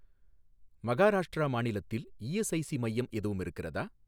மகாராஷ்டிரா மாநிலத்தில் இஎஸ்ஐஸி மையம் எதுவும் இருக்கிறதா?